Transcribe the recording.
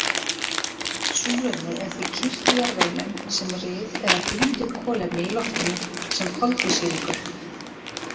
Súrefnið er því kyrrt í jarðveginum sem ryð eða bundið kolefni í loftinu sem koltvísýringur.